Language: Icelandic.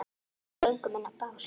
Við göngum inn á bás